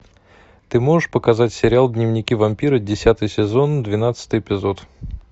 ты можешь показать сериал дневники вампира десятый сезон двенадцатый эпизод